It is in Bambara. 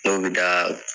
N'o bɛ da